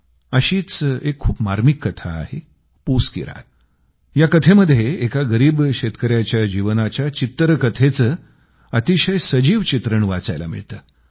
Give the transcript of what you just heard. अशीच एक खूप मार्मिक कथा आहे पूस की रात या कथेमध्ये एका गरीब शेतकऱ्याच्या जीवनाच्या चित्तरकथेच अतिशय सजीव चित्रण वाचायला मिळतं